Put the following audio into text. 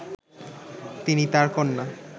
তিনি তার কন্যা